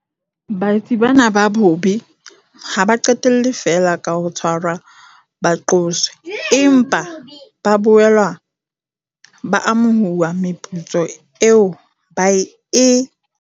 Baetsi bana ba bobe ha ba qetelle feela ka ho tshwarwa ba qoswe, empa ba boela ba amohuwa meputso eo ba e